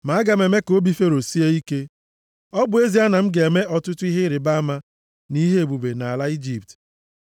Ma aga m eme ka obi Fero sie ike. Ọ bụ ezie na m ga-eme ọtụtụ ihe ịrịbama nʼihe ebube nʼala Ijipt,